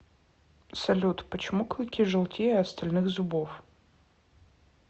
салют почему клыки желтее остальных зубов